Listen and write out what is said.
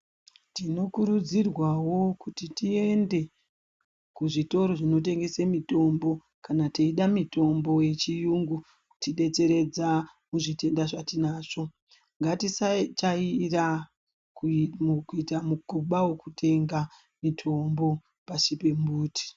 Tinokurudzirwawo kuti tiende kuzvitoro zvinotengese mitombo kana teide mitombo yechiyungu kutidetseredza muzvitenda zvatinazvo. Ngatisajairira kuita mukuba wokutenga mutombo pashi pembuti.